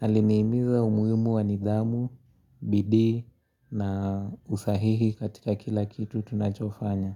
aliniimiza umuhimu wanidhamu, bidi na usahihi katika kila kitu tunachofanya.